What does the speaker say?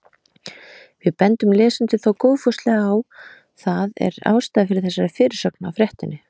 Við bendum lesendum þó góðfúslega á að það er ástæða fyrir þessari fyrirsögn á fréttinni.